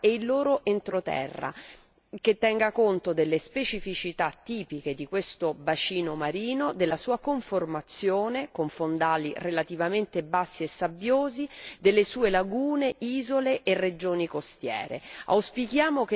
costiera e il suo entroterra, che tenga conto delle specificità tipiche di questo bacino marino, della sua conformazione, con fondali relativamente bassi e sabbiosi, delle sue lagune, isole e regioni costiere.